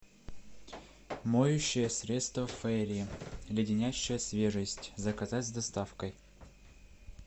моющее средство фейри леденящая свежесть заказать с доставкой